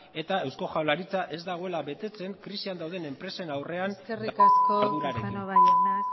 eta eusko jaurlaritza ez dagoela betetzen krisian dauden enpresen aurrean eskerrik asko casanova